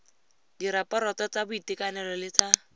diraporoto tsa boitekanelo le tsa